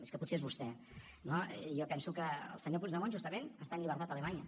és que potser és vostè no jo penso que el senyor puigdemont justament està en llibertat a alemanya